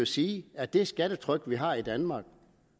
sige at det skattetryk vi har i danmark og